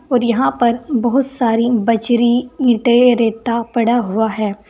और यहां पर बहुत सारी बजरी इंटे रेता पड़ा हुआ है।